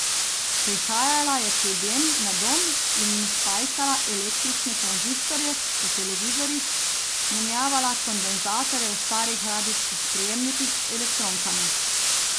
Prihajala je k ljudem na dom in jim spajkala električne tranzistorje v televizorjih, menjavala kondenzatorje v starih radijskih sprejemnikih z elektronkami.